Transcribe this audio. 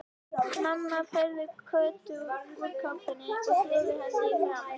Mamma færði Kötu úr kápunni og þvoði henni í framan.